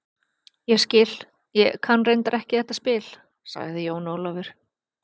Ég skil, ég kann reyndar ekki þetta spil, sagði Jón Ólafur.